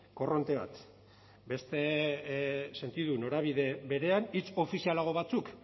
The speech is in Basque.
korronte bat beste sentidu norabide berean hitz ofizialago batzuk